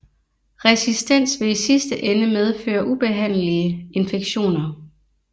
Resistens vil i sidste ende medføre ubehandelige infektioner